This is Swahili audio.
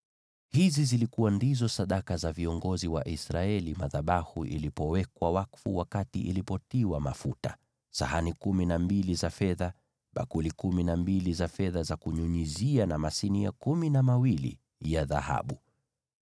Hizi ndizo zilikuwa sadaka za viongozi wa Israeli madhabahu yalipowekwa wakfu, wakati yalitiwa mafuta: sahani kumi na mbili za fedha, bakuli kumi na mbili za fedha za kunyunyizia, na masinia kumi na mawili ya dhahabu.